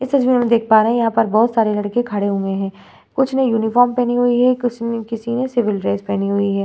इस तस्वीर में हम देख पा रहे हैं यहाँ पर बहुत सारे लड़के खड़े हुए हैं कुछ ने यूनिफॉर्म पहनी हुई है कुछ ने किसी ने सिविल ड्रेस पहनी हुई है ।